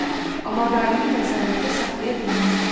Hə, amma daimi nəzarətdə saxlaya bilməzlər.